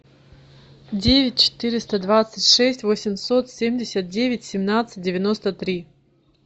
девять четыреста двадцать шесть восемьсот семьдесят девять семнадцать девяносто три